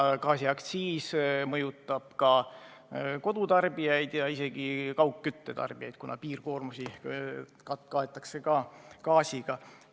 Gaasiaktsiis mõjutab ka kodutarbijaid, samuti kaugküttetarbijaid, kuna piirkoormusi kaetakse ka gaasi abil.